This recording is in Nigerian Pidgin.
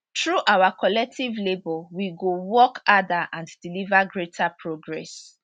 through our collective labour we go work harder and deliver greater progress